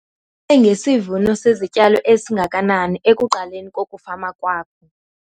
Ngesivuno sezityalo esingakanani ekuqaleni kokufama kwakho?